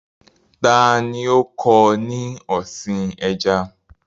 Ta ni ó kọ́ ọ ní ọ̀sìn ẹja?